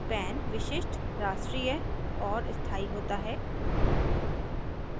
pan विशिष्ट राष्ट्रीय और स्थाई होता है